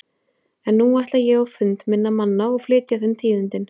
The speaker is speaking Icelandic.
En nú ætla ég á fund minna manna og flytja þeim tíðindin.